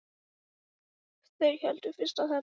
Þeir héldu fyrst að þetta væri kannski